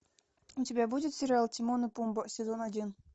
у тебя будет сериал тимон и пумба сезон один